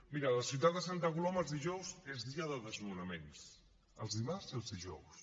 miri a la ciutat de santa coloma els dijous són dies de desnonaments els dimarts i els dijous